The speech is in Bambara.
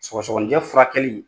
Sɔgɔsɔgɔnijɛ furakɛli